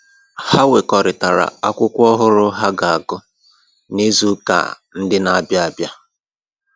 Ha wekọrịtara akwụkwọ ọhụrụ ha ga-agụ n'izu ụka ndị na-abịa abịa